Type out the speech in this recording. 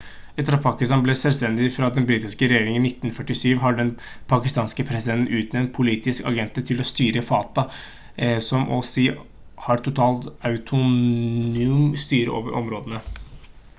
etter at pakistan ble selvstendig fra den britiske regjeringen i 1947 har den pakistanske presidenten utnevnt «politiske agenter» til å styre fata som så og si har total autonom styre over områdene